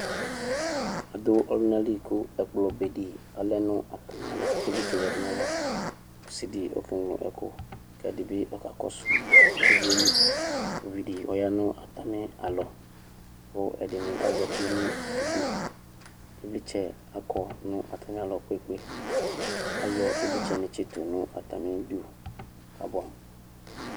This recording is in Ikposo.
adʋ ɔlʋnali kʋ ɛkplɔ bedi lɛ nʋ atami alɔ kʋ ivlitsɛdi yadʋ nayava kʋ ɔsidi ekeŋlo ɛkʋ kɛdibi kakɔsʋ ivlitsɛli ʋvidi ɔyanʋ atami alɔ kʋ ɛdini azati nʋ ʋdʋ ivlitsɛ akɔ nʋ atamialɔ kpekpee ayɔ ivlitsɛ tsitʋ nʋ atamidʋ kabʋɛ amʋ